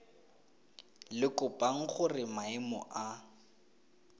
le kopang gore maemo a